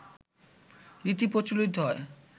রীতি প্রচলিত হয়